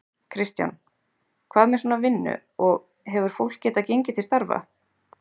Kristján: Hvað með svona vinnu, og, hefur fólk getað gengið til starfa?